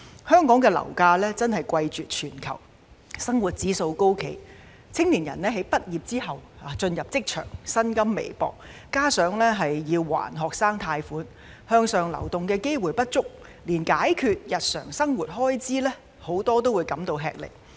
香港樓價真的貴絕全球，生活指數高企，青年人在畢業後進入職場，薪金微薄，加上要償還學生貸款，向上流動機會不足，很多人連解決日常生活開支也感到吃力。